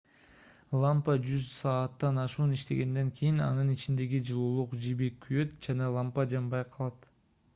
лампа жүз сааттан ашуун иштегенден кийин анын ичиндеги жылуулук жиби күйөт жана лампа жанбай калат